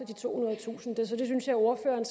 de tohundredetusind det synes jeg ordføreren